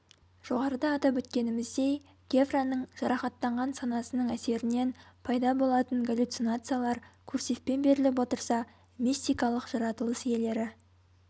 жоғарыда атап өткеніміздей гевраның жарақаттанған санасының әсерінен пайда болатын галлюцинациялар курсивпен беріліп отырса мистикалық жаратылыс иелері